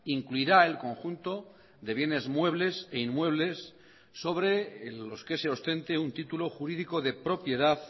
incluirá el conjunto de bienes muebles e inmuebles sobre los que se ostente un título jurídico de propiedad